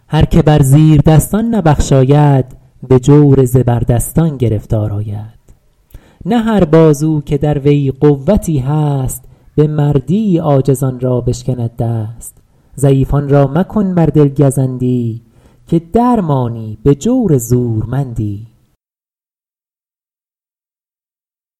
هر که بر زیردستان نبخشاید به جور زبردستان گرفتار آید نه هر بازو که در وی قوتی هست به مردی عاجزان را بشکند دست ضعیفان را مکن بر دل گزندی که در مانی به جور زورمندی